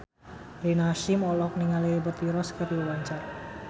Rina Hasyim olohok ningali Liberty Ross keur diwawancara